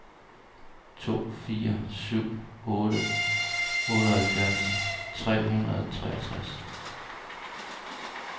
to fire syv otte otteoghalvfjerds tre hundrede og treogtres